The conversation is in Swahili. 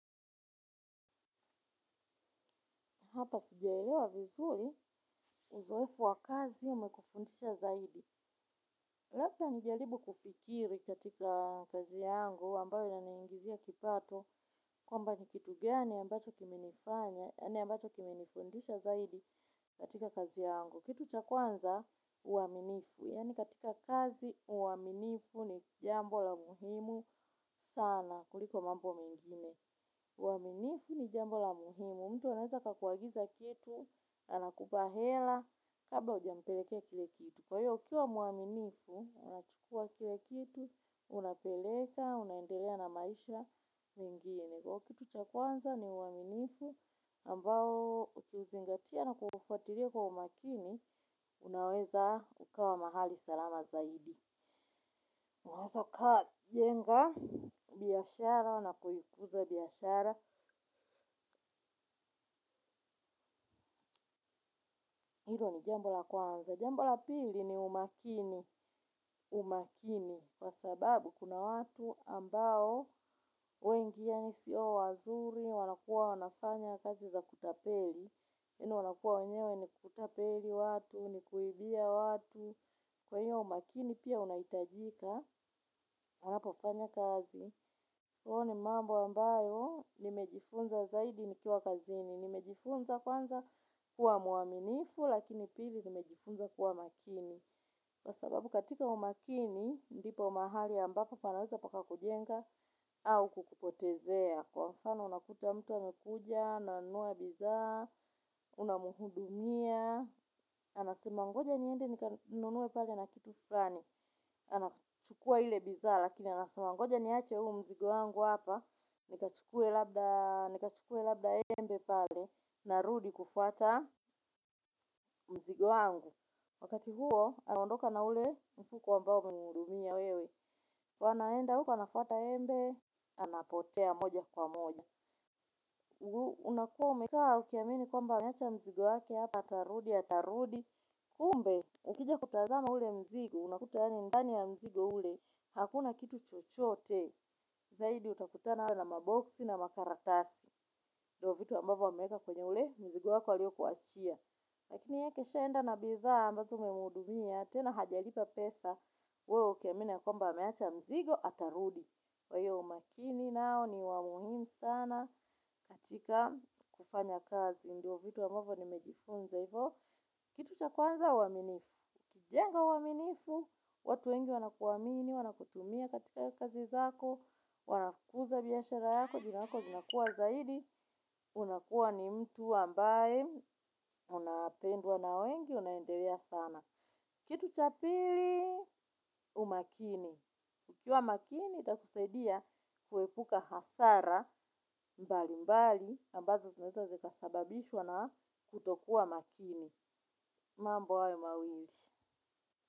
Hapa sijaelewa vizuli uzoefu wa kazi umekufundisha zaidi. Lebda nijaribu kufikiri katika kazi yangu ambayo inaningizia kipato. Kwamba ni kitu gani ambacho kiminifundisha zaidi katika kazi yangu. Kitu cha kwanza uaminifu. Yaani katika kazi uaminifu ni jambo la muhimu sana kuliko mambo mengine. Uaminifu ni jambo la muhimu. Mtu anaweza akakuagiza kitu, anakupa hela, kabla hujampelekea kile kitu. Kwa hiyo, ukiwa muaminifu, unachukua kile kitu, unapeleka, unaendelea na maisha mengine. Kwa kitu cha kwanza, ni uaminifu, ambao ukiuzingatia na kufatiria kwa umakini, unaweza ukawa mahali salama zaidi. Unaweza ukwa jenga, biashara, unapo ikuza biashara, hilo ni jambo la kwanza. Jambo la pili ni umakini, umakini, kwa sababu kuna watu ambao wengi yaani sio wazuri, wanakua wanafanya kazi za kutapeli, yaani wanakua wenyewe ni kutapeli watu, ni kuibia watu, kwa hiyo umakini pia unahitajika, anapofanya kazi. Huo ni mambo ambayo nimejifunza zaidi nikiwa kazini, nimejifunza kwanza kuwa muaminifu, lakini pili nimejifunza kuwa makini. Kwa sababu katika umakini, ndipo mahali ambapo panaweza paka kujenga au kukupotezea. Kwa mfano unakuta mtu amekuja, ananua bithaa, unamuhudumia. Anasema ngoja niende nikanunue pale na kitu flani. Anachukua ile bithaa, lakini anasema ngoja niache huu mzigo wangu hapa. Nikachukue labda embe pale na rudi kufuata mzigo wangu. Wakati huo anaondoka na ule mfuko ambao umemuhudumia wewe. Wanaenda huko anafata embe. Anapotea moja kwa moja. Unakuwa umekaa ukiamini kwamba ameacha mzigo wake hapa atarudi atarudi. Kumbe, ukija kutazama ule mzigo unakuta yaani ndani ya mzigo ule hakuna kitu chochote. Zaidi utakutana awe na maboksi na makarakasi ndio vitu ambavo ameeka kwenye ule mzigo wako alio kuachia. Lakini yakesha enda na bithaa ambazo umemuhudumia, tena hajalipa pesa, wewe ukiamini ya kwamba ameacha mzigo atarudi. Kwahio umakini nao ni wamuhimu sana katika kufanya kazi. Ndio vitu ambavyo nimejifunza hivoo, kitu cha kwanza uaminifu jenga uaminifu, watu wengi wanakuamini, wanakutumia katika kazi zako, wanakuza biashara yako, jina lako linakua zaidi. Unakuwa ni mtu ambaye unapendwa na wengi unaendelea sana kitu cha pili umakini ukiwa makini itakusaidia kuhepuka hasara mbali mbali ambazo zinaweza zikasababishwa na kutokuwa makini mambo hayo mawili.